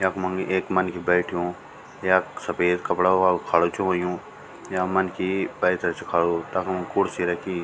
यखमन एक मनखी बैठ्यु यख सफ़ेद कपड़ा वल खडू च हुयुं या मनखी पैथर च खडू तखम खुर्सी रखीं।